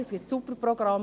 Es gibt gute Programme.